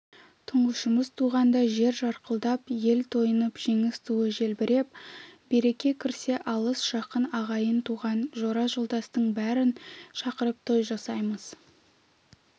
тұңғышымыз туғанда жер жарылқап ел тойынып жеңіс туы желбіреп береке кірсе алыс-жақын ағайын-туған жора-жолдастың бәрін шақырып той жасаймыз